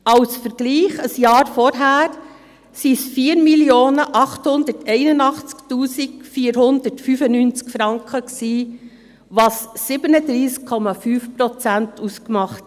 Als Vergleich: Im Jahr zuvor waren es 4 881 495 Franken, was 37,5 Prozent ausmacht.